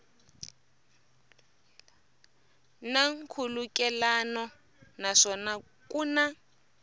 na nkhulukelano naswona ku na